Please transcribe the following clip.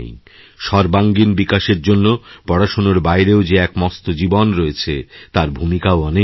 সর্বাঙ্গীণ বিকাশের জন্য পড়াশোনারবাইরেও যে এক মস্ত জীবন রয়েছে তার ভূমিকাও অনেক বড়